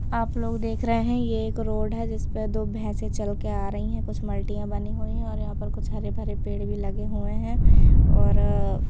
आप लोग देख रहे हैं ये एक रोड है जिस पे दो भैंसे चलके आ रही हैं कुछ मल्टियाँ बनी हुई हैं और यहाँ पर कुछ हरे भरे पेड़ भी लगे हुए हैं और अ --